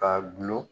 Ka gulon